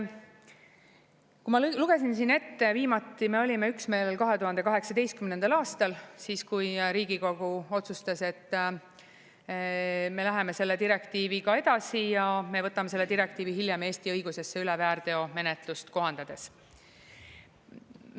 Kui ma lugesin siin ette, viimati me olime üksmeelel 2018. aastal, siis kui Riigikogu otsustas, et me läheme selle direktiiviga edasi ja me võtame selle direktiivi hiljem Eesti õigusesse üle väärteomenetlust kohandades.